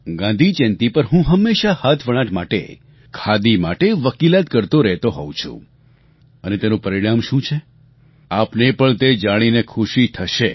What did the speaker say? ગાંધી જયંતી પર હું હંમેશા હાથવણાટ માટે ખાદી માટે વકીલાત કરતો રહેતો હોઉં છું અને તેનું પરિણામ શું છે આપને પણ તે જાણીને ખુશી થશે